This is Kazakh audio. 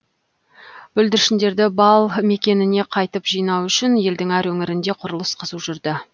бүлдіршіндерді бал мекеніне қайтып жинау үшін елдің әр өңірінде құрылыс қызу жүрді